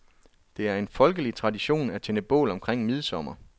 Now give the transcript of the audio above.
Det er en folkelig tradition at tænde bål omkring midsommer.